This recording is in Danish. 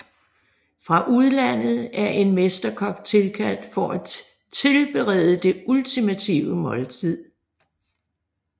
Fra udlandet er en mesterkok tilkaldt for at tilberede det ultimative måltid